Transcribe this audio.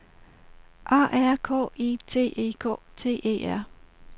A R K I T E K T E R